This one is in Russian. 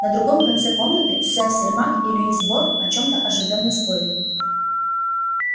на другом конце комнаты сэф сермак и льюис борт о чём-то оживлённо спорили